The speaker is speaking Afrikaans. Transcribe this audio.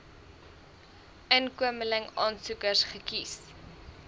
inkomeling aansoekers gekies